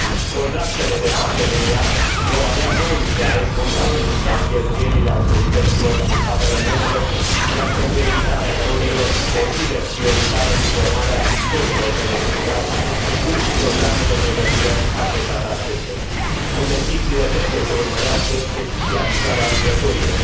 Contractele de parteneriat vor avea rolul de a responsabiliza cheltuielile autorităților din statele membre, iar, pentru evitarea erorilor, consider prioritară informarea viitorilor beneficiari, precum și programe de pregătire adresate acestora. Investițiile trebuie să urmărească specializarea lucrătorilor.